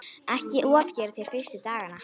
Ekki ofgera þér fyrstu dagana.